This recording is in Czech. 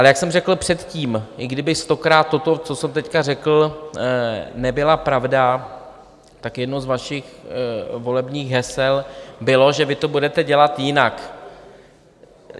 Ale jak jsem řekl předtím, i kdyby stokrát toto, co jsem teď řekl, nebyla pravda, tak jedno z vašich volebních hesel bylo, že vy to budete dělat jinak.